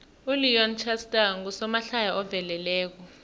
uleon schuster ngusomahlaya oveleleko